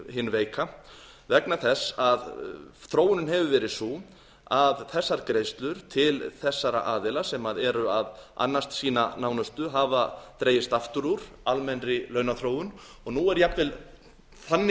hinn veika þróunin hefur verið sú að þessar greiðslur til þessara aðila sem eru að annast sína nánustu hafa dregist aftur úr almennri launaþróun og nú er jafnvel þannig